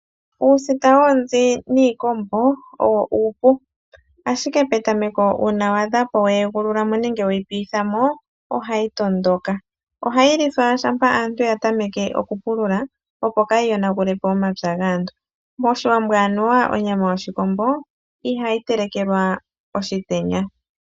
Uusita woonzi niikombo, owo oshinima oshipu. Ashike petameko uuna wa adha opo weyi piithamo, ohayi tondoka. Ohayi lithwa shampa aantu yatameke okupulula, opo kaayi yonagulepo omapya gaantu. Moshiwambo anuwa onyama yoshikombo, ihayi telekelwa oshitenya.